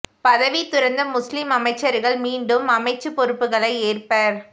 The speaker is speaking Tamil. பதவி துறந்த முஸ்லிம் அமைச்சர்கள் மீண்டும் அமைச்சுப் பொறுப்புகளை ஏற்பர்